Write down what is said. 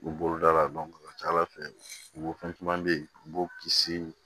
U bolo da la a ka ca ala fɛ u fɛn caman bɛ yen u b'o kisi